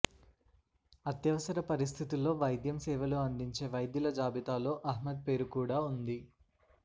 అత్యవసర పరిస్థితుల్లో వైద్యం సేవలు అందించే వైద్యుల జాబితాలో అహ్మద్ పేరు కూడా ఉంది